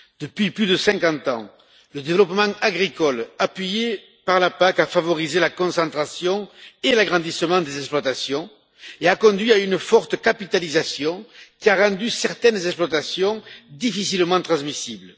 Depuis plus de 50 ans, le développement agricole, appuyé par la PAC, a favorisé la concentration et l'agrandissement des exploitations et a conduit à une forte capitalisation qui a rendu certaines exploitations difficilement transmissibles.